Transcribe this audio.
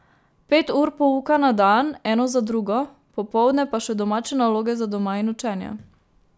Pet ur pouka na dan, eno za drugo, popoldne pa še domače naloge za doma in učenje.